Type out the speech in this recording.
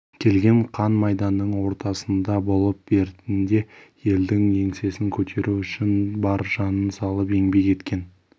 келген қан майданның ортасында болып бертінде елдің еңсесін көтеру үшін бар жанын салып еңбек еткен